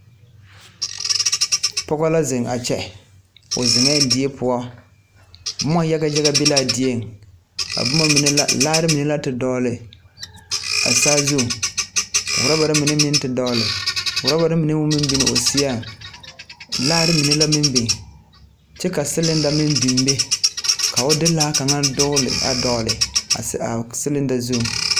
Pɔge la ziŋ a kyɛ. Die pʋɔ la ka o ziŋ. Boma yaga yaga be la a die pʋɔ.A boma mine e la laare naŋ dɔgle a saazuiŋ kyɛ ka ɔrɔbare meŋ dɔgle kyɛ ka a mine biŋ o sien. Laare meŋ biŋee la kyɛ ka siliŋdare meŋ biŋ ka o de laa dɔgle a siliŋda zu.